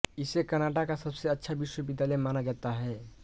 इसे कनाडा का सबसे अच्छा विश्वविद्यालय माना जाता है